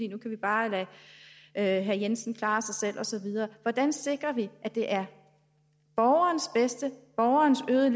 nu kan vi bare lade herre jensen klare sig selv og så videre hvordan sikrer vi at det er borgerens bedste borgerens øgede